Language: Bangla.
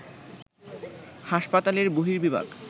হাসপাতালের বহির্বিভাগ